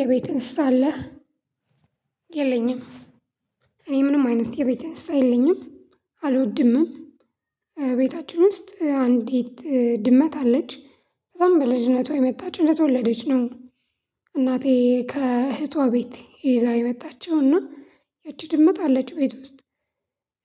የቤት እንስሳ አለህ? የለኝም። እኔ ምንም አይነት የቤት እንስሳ የለኝም። አልወድምም ቤታችን ውስጥ አንዲት ድመት አለች። እሷም በልጅነት ነው የመጣች እንደተወለደች ነው። እናቴ ከእህቷ ቤት ይዛ የመጣችው እና። ያቺ ድመት አለች ቤት ውስጥ።